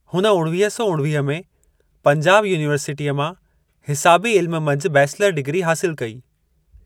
हुन उणिवीह सौ उणिवीह में पंजाब यूनिवर्सिटीअ मां हिसाबी इल्म मंझि बैचलर डिग्री हासिलु कई।